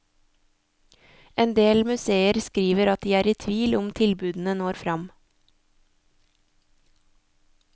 En del museer skriver at de er i tvil om tilbudene når fram.